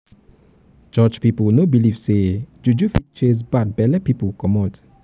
church pipu no dey beliv sey juju fit chase bad belle pipu comot.